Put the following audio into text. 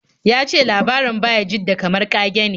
Ya ce labarin Bayajidda kamar ƙage ne.